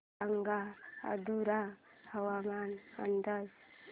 सांगा मथुरा हवामान अंदाज